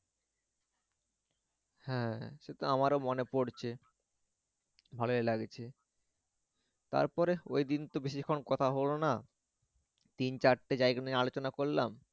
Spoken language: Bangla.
হ্যা সে তো আমারও মনে পরছে ভালোই লাগছে তারপরে ওইদিন তো বেশিক্ষন কথা হলো না তিন চারটে জায়গা নিয়ে আলোচনা করলাম।